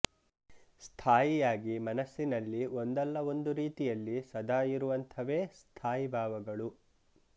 ಸ್ಥಾಯಿಯಾಗಿ ಮನಸ್ಸಿನಲ್ಲಿ ಒಂದಲ್ಲ ಒಂದು ರೀತಿಯಲ್ಲಿ ಸದಾ ಇರುವಂಥವೇ ಸ್ಥಾಯಿಭಾವಗಳು